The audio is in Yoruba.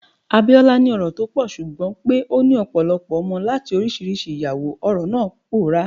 Abiola ni ọrọ̀ tó pọ̀, ṣùgbọ́n pé ó ní ọ̀pọ̀lọpọ̀ ọmọ láti oríṣiríṣi ìyàwó, ọrọ̀ náà pòórá.